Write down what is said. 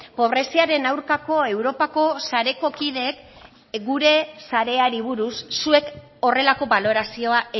pobreziaren aurkako europako sareko kideek gure sareari buruz zuek horrelako balorazioa